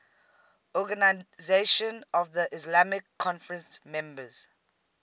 organisation of the islamic conference members